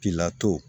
Pilato